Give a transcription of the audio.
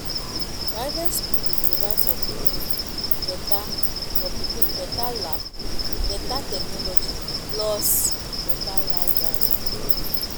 private skool dey provide for pikin beta for pikin beta lab beta technology plus beta library